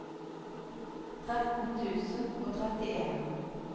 tretten tusen og trettien